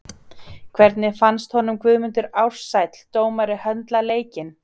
Hvernig fannst honum Guðmundur Ársæll dómari höndla leikinn?